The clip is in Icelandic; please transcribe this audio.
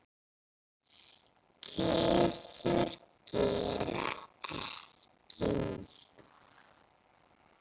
Kisur gera ekki neitt.